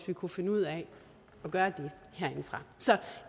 vi kunne finde ud af gøre det herinde fra så